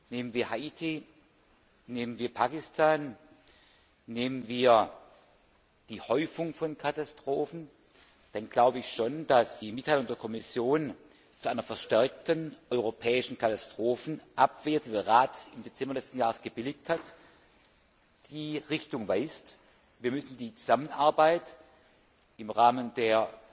Nehmen wir Haiti, nehmen wir Pakistan, nehmen wir die Häufung von Katastrophen, dann glaube ich schon, dass die Mitteilung der Kommission zu einer verstärkten europäischen Katastrophenabwehr, die der Rat im Dezember letzten Jahres gebilligt hat, die Richtung weist. Wir müssen die Zusammenarbeit im Rahmen der